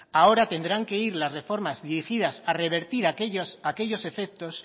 ahora tendrán que ir las reformas dirigidas a revertir aquellos efectos